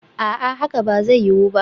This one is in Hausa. A'a, hakan ba zai yiwu ba